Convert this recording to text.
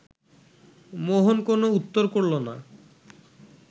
মোহন কোনো উত্তর করল না